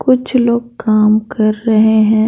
कुछ लोग काम कर रहे हैं।